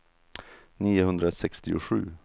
niohundrasextiosju